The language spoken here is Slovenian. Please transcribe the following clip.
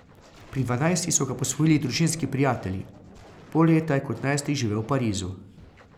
Pri dvanajstih so ga posvojili družinski prijatelji, pol leta je kot najstnik živel v Parizu.